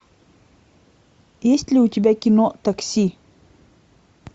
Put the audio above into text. есть ли у тебя кино такси